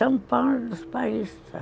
São Paulo é dos paulistas.